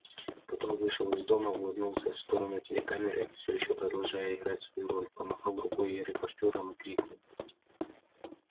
потом вышел из дома улыбнулся в сторону телекамеры все ещё продолжая играть свою роль помахал рукой репортёрам и крикнул